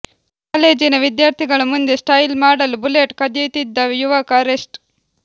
ಕಾಲೇಜಿನ ವಿದ್ಯಾರ್ಥಿಗಳ ಮುಂದೆ ಸ್ಟೈಲ್ ಮಾಡಲು ಬುಲೆಟ್ ಕದಿಯುತ್ತಿದ್ದ ಯುವಕ ಅರೆಸ್ಟ್